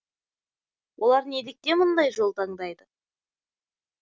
олар неліктен мұндай жол таңдайды